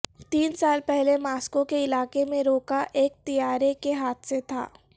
تین سال پہلے ماسکو کے علاقے میں روکا ایک طیارے کے حادثے تھا